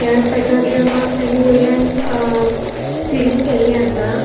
त्या पेट्रोलियमाक तेनी वयल्यान अ सीलिंग केल्ले असा.